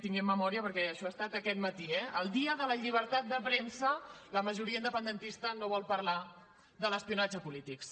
tinguem memòria perquè això ha estat aquest matí eh el dia de la llibertat de premsa la majoria independentista no vol parlar de l’espionatge a polítics